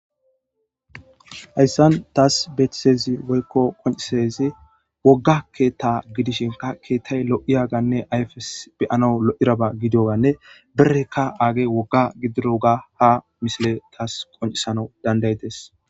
Hayssan taas beetizaysi woyko qoncizaysi wogga keeta gidishin keetay lo'iyaga ayfesika be'anaw lo'idaba gididaganne berrey aagey wogga gididoga ha misiley taas qonccisanas danda'idees.